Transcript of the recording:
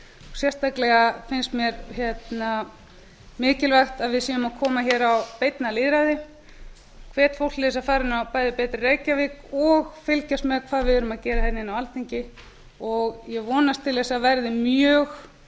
sérstaklega finnst mér mikilvægt að við séum að koma hér á beinna lýðræði ég hvet fólk til þess að fara inn á bæði betri reykjavík og fylgjast með hvað við erum að gera hérna inni á alþingi og ég vonast til þess að það